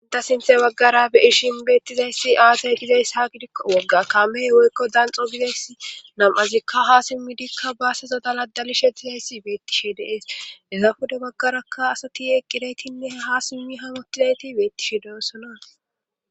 inta sinthe baggara be ishin beettizayssi aasey gizayss ha gidikko wogga kaamey woykko danxo bizeys nam7azikka ha simmidikka baasezadala dalishe gizayssi beettishe deees eza fuda baggaraka asati eqqideytinne ha simmi hamotilayti beettishe Des'sona